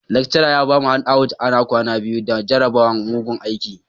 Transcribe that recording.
Lecturer ya bamu handouts ana kwana biyu da jarabawan, mugun aiki.